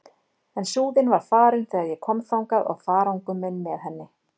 En Súðin var farin þegar ég kom þangað og farangur minn með henni.